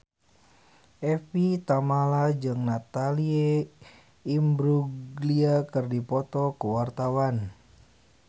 Evie Tamala jeung Natalie Imbruglia keur dipoto ku wartawan